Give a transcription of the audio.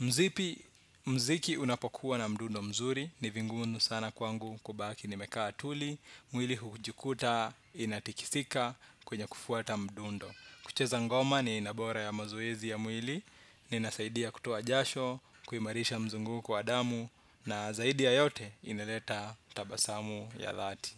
mziki. Mziki unapokuwa na mdundo mzuri, ni vingumu sana kwangu kubaki nimekaa tuli, mwili hujikuta inatikisika kwenye kufuata mdundo. Kucheza ngoma ni aina bora ya mazoezi ya mwili, na inasaidia kutoa jasho, kuimarisha mzunguko wa damu, na zaidi ya yote ineleta tabasamu ya dhati.